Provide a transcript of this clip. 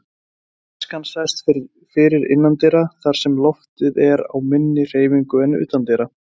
Askan sest fyrr innandyra þar sem loftið er á minni hreyfingu en utandyra.